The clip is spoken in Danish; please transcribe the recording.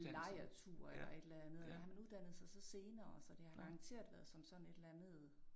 Lejrtur eller et eller andet. Han uddannede sig så senere så det har garanteret været som sådan et eller andet